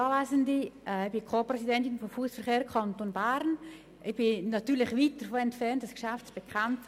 Ich bin Co-Präsidentin des Fachverbands Fussverkehr Kanton Bern und natürlich weit davon entfernt, dieses Geschäft zu bekämpfen.